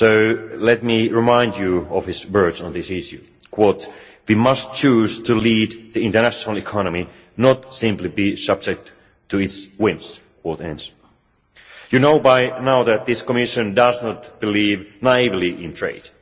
So let me remind you of his words on this issue We must choose to lead the international economy, not simply be subject to its whims'. You know by now that this Commission does not believe naively in trade.